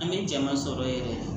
An bɛ jama sɔrɔ yɛrɛ de